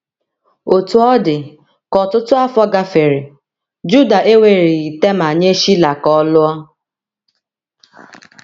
Otú ọ dị, ka ọtụtụ afọ gafere, Juda ewereghị Tema nye Shila ka ọ lụọ.